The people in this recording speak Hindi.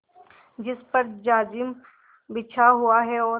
जिस पर जाजिम बिछा हुआ है और